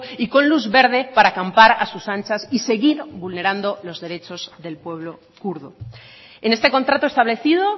y con luz verde para campar a sus anchas y seguir vulnerando los derechos del pueblo kurdo en este contrato establecido